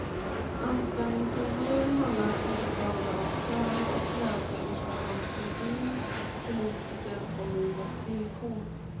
Anställningsintervjun handlar inte bara om söner och mödrar utan om poesin, politiken och livets villkor.